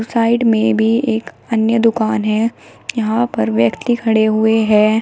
Side में भी एक अन्य दुकान है यहां पर व्यक्ति खड़े हुए हैं।